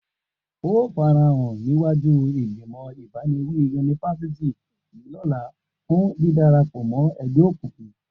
O óò farahàn níwájú ìgbìmọ̀ abániwí yunifásítì yìí lọ́la fún dídara pọ̀ mọ́ ẹgbẹ́ òkùnkùn!